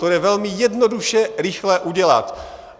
To jde velmi jednoduše rychle udělat.